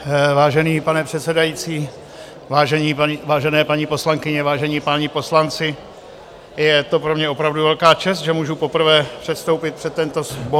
Vážený pane předsedající, vážené paní poslankyně, vážení páni poslanci, je to pro mě opravdu velká čest, že můžu poprvé předstoupit před tento sbor...